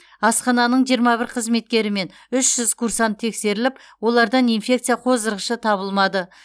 асхананың жиырма бір қызметкері мен үш жүз курсант тексеріліп олардан инфекция қоздырғышы табылмады